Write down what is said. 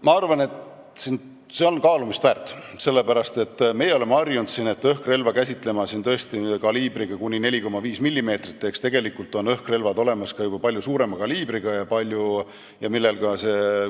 Ma arvan, et see on kaalumist väärt, sellepärast et meie siin oleme harjunud õhkrelva käsitlema tõesti kaliibriga kuni 4,5 millimeetrit, tegelikult on aga olemas ka juba palju suurema kaliibriga õhkrelvi, millel on ka